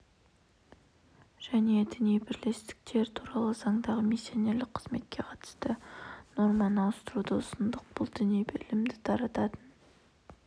және діни бірлестіктер туралы заңдағы миссионерлік қызметке қатысты норманы ауыстыруды ұсындық бұл діни ілімді тарататын